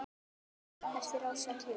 eftir Ársæl Jónsson